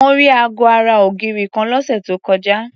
Mo rí aago ara ògiri kan lọ́sẹ̀ tó kọjá.